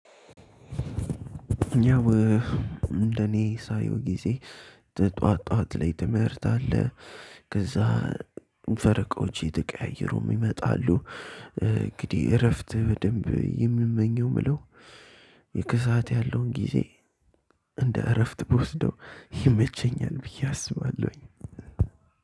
ያው እንደኔ ሳየው ጊዜ ጠዋት ጠዋት ላይ ትምህርት አለ። ከዛ ፈረቃዎች እየተቀያየሩ ይመጣሉ። እንግዲህ እረፍት በደንብ የምመኘው የምለው። የከሰአት ያለውን ጊዜ እንደ እረፍት ብወስደው ይመቸኛል ብዬ አስባለሁኝ።